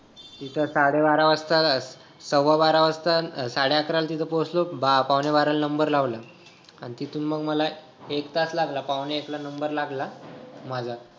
तिथं साडे बारा वाजता सव्वा बारा वाजता साडे अकरा ला पोचलो पावणे बारा ला number लावला आणि तिथून मग मला एक तास लागला पावणे एक ला number लागला माझा